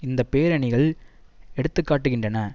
இந்த பேரணிகள் எடுத்து காட்டுகின்றன